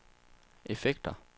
effekter